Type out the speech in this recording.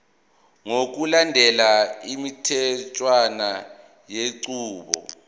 ngokulandela imitheshwana yenqubo